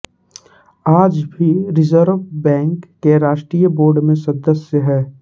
आज भी Reserve Bank के राष्टीय बोर्ड में सदस्य हैं